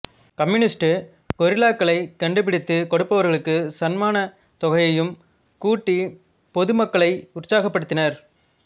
communist கொரில்லாக்களைக் கண்டுபிடித்துக் கொடுப்பவர்களுக்கு சன்மானத் தொகையையும் கூட்டி பொதுமக்களை உற்சாகப் படுத்தினார்